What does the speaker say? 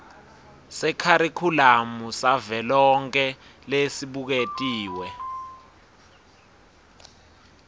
sekharikhulamu savelonkhe lesibuketiwe